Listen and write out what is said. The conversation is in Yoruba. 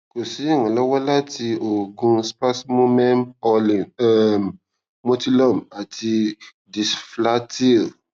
ko si iranlọwọ lati oogun spasmomen orlin um motilum ati disflatyl